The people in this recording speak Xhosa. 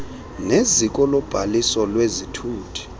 neziko lobhaliso lwezithuthi